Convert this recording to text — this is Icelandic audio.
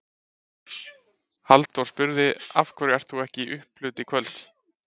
Halldór spurði: Af hverju ert þú ekki í upphlut í kvöld?